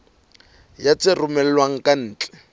ya tse romellwang ka ntle